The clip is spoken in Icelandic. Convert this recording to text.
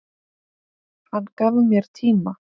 Hann gaf mér tíma.